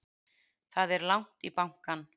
Það er langt í bankann!